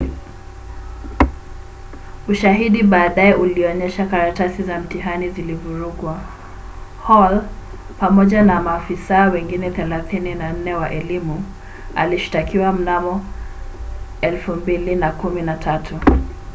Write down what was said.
ushahidi baadaye ulionyesha karatasi za mtihani zilivurugwa. hall pamoja na maafisa wengine 34 wa elimu alishtakiwa mnamo 2013